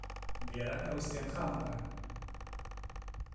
вера рустямхановна